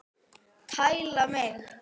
Tæla mig!